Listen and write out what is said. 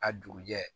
A dugujɛ